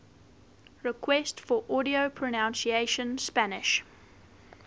requests for audio pronunciation spanish